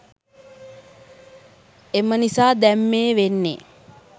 එම නිසා දැන් මේ වෙන්නේ